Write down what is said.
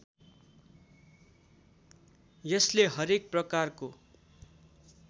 यसले हरेक प्रकारको